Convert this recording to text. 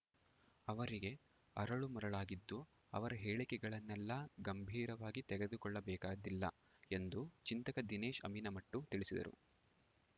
ಅವರಿಗೆ ಅರಳುಮರಳಾಗಿದ್ದು ಅವರ ಹೇಳಿಕೆಗಳನ್ನೆಲ್ಲಾ ಗಂಭೀರವಾಗಿ ತೆಗೆದುಕೊಳ್ಳಬೇಕಾದ್ದಿಲ್ಲ ಎಂದು ಚಿಂತಕ ದಿನೇಶ್‌ ಅಮೀನ್‌ ಮಟ್ಟು ತಿಳಿಸಿದರು